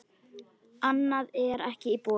Annað er ekki í boði.